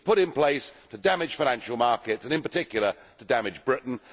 It was put in place to damage financial markets and in particular to damage Britain.